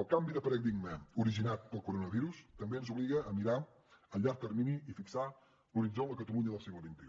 el canvi de paradigma originat pel coronavirus també ens obliga a mirar a llarg termini i fixar l’horitzó en la catalunya del segle xxi